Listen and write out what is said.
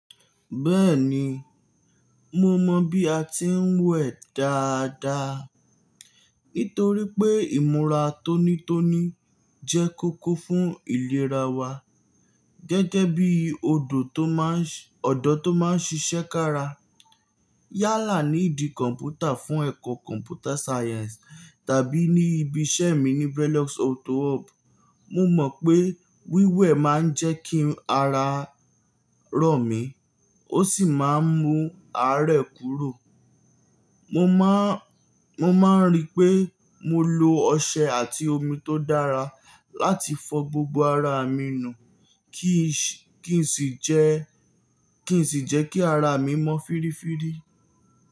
Bẹ́ẹ̀ni, mo mọ bí a ti ń wẹ̀ dáadáa. Nítorí pé ìmúra tónítóní jẹ́ kókó fún ìlera wa. Gẹ́gẹ́ bí ọ̀dọ́ tó máa ń ṣiṣẹ́ kára yálà ní ìdí kọ̀m̀pútà fún ẹ̀kọ́ Computer Science tàbí ní ibi iṣẹ́ mi ní Brelox Auto Hub, mo mọ̀ pé wíwẹ̀ máa ń jẹ́ kí ara rọ̀ mi, ó sì máa ń mú àárẹ̀ kúrò. Mo máa ń rí pé mo lo ọṣẹ àti omi tó dára láti fọ gbogbo ara mi nù kí n sì jẹ́ kí ara mi mọ́ fírífírí.